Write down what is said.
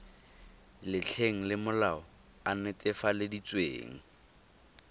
letlheng le molaodi a netefaleditsweng